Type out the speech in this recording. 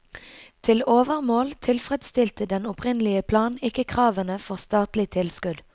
Til overmål tilfredsstilte den opprinnelige plan ikke kravene for statlig tilskudd.